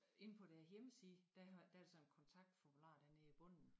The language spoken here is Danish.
Inde på deres hjemmeside der har der er der sådan en kontaktformular dernede i bunden